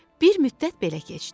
Bir müddət belə keçdi.